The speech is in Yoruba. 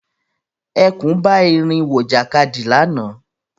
Ẹkùn bá erin wọ ìjàkadì lànà